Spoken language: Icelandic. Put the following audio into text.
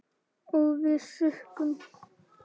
Og við sukkum.